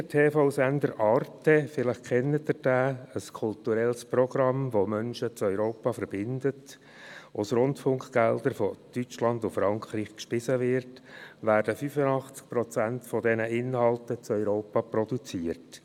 Wie der TV-Sender Arte – diesen kennen Sie vielleicht – ein kulturelles Programm, welches Menschen in Europa verbindet, aus Rundfunkgeldern aus Deutschland und Frankreich gespeist wird, werden 85 Prozent dieser Inhalte in Europa produziert.